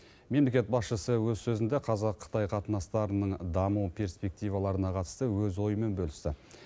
мемлекет басшысы өз сөзінде қазақ қытай қатынастарының даму перспективаларына қатысты өз ойымен бөлісті